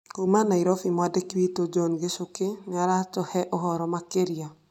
Kuuma Nairobi, mwandĩki witũ John Gĩchukĩ nĩ aratũhee ũhoro makĩria.